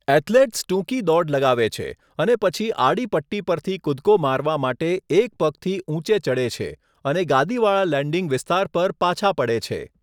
Athletes ટૂંકી દોડ લગાવે છે અને પછી આડી પટ્ટી પરથી કૂદકો મારવા માટે એક પગથી ઊંચે ચડે છે અને ગાદીવાળા લેન્ડિંગ વિસ્તાર પર પાછા પડે છે.